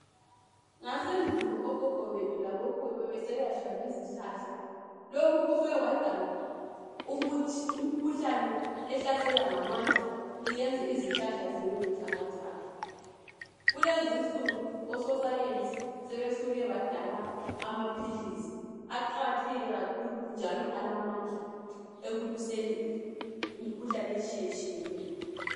Ngasendulo okhokho bethu labo khulu bebeselatshwa izihlahla lokhu kusuke kwadala ukuthi imkhuhlane ehlasela ngamandla iyenze izihlahla zibe buthakathaka kulezinsuku ososayensi sebesuke badala amaphilisi aqakathekile kakhulu njalo alamandla ekulwiseni imkhuhlane etshiyetshiyeneyo.